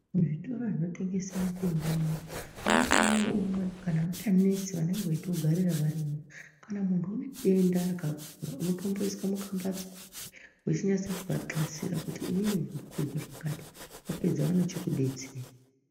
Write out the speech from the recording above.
Muzvitoro zvinotengese mitombo ,munenge mune umwe kana mbuya nesi vanenge veitogarira varimwo. Kana muntu une denda rakakura unotomboiswa mukambatso, wechinyasa kuvaxasira kuti inini ndiri kuzwa zvakati. Vapedza vanochikudetsera.